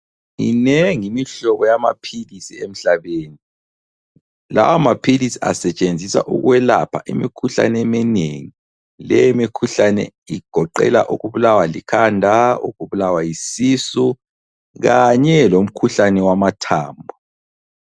Minengi imihlobo yamaphilisi emhlabeni. Lawa maphilisi asetshenziswa ukwelapha imikhuhlane eminengi leyi mikhuhlane igoqela ukubulawa likhanda, ukubulawa yisisu kanye lomkhuhlane wamathambo.